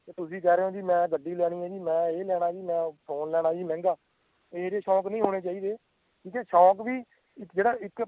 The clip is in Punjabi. ਓਹੀ ਕਹਿ ਰਿਹਾ ਆਂ ਵੀ ਮੈਂ ਗੱਡੀ ਲੈਣੀ ਆ ਜੀ ਮੈਂ ਇਹ ਲੈਣਾ ਆ ਜੀ ਮੈਂ phone ਲੈਣਾ ਜੀ ਮਹਿੰਗਾ ਇਹੋ ਜਿਹੇ ਸ਼ੋਂਕ ਨਹੀਂ ਹੋਣੇ ਚਾਹੀਦੇ ਠੀਕ ਐ ਸ਼ੋਂਕ ਵੀ ਇੱਕ ਜਿਹੜਾ ਇੱਕ